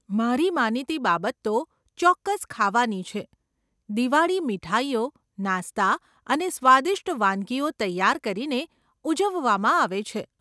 મારી માનીતી બાબત તો, ચોક્કસ, ખાવાની છે. દિવાળી મીઠાઈઓ, નાસ્તા અને સ્વાદિષ્ટ વાનગીઓ તૈયાર કરીને ઉજવવામાં આવે છે.